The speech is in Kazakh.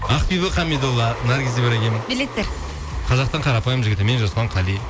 ақбибі хамидолла наргиз ибрагим билеттер қазақтың қарапайым жігіті мен жасұлан қали